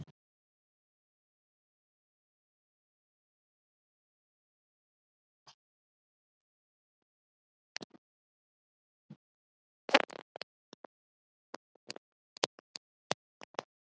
Þær hafa allar til síns ágætis nokkuð og henta hver um sig við tilteknar aðstæður.